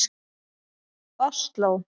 Osló